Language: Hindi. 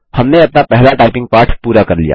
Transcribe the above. हमने अपना पहला टाइपिंग पाठ पूरा कर लिया